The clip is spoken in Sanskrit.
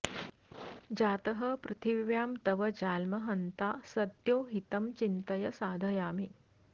जातः पृथिव्यां तव जाल्म हन्ता सद्यो हितं चिन्तय साधयामि